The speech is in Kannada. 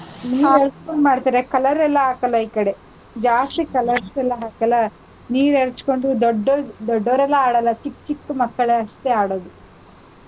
ನೀರಾಡ್ಕೊಂಡ್ ಮಾಡ್ತಾರೆ color ಎಲ್ಲಾ ಹಾಕಲ್ಲ ಈ ಕಡೆ. ಜಾಸ್ತಿ colors ಎಲ್ಲಾ ಹಾಕಲ್ಲ, ನೀರ್ ಎರ್ಚ್ಕೊಂಡು ದೊಡ್ಡೋರ್~ ದೊಡ್ಡೋರೆಲ್ಲ ಆಡಲ್ಲ, ಚಿಕ್ಕ ಚಿಕ್ಕ ಮಕ್ಕಳಷ್ಟೇ ಆಡೋದು.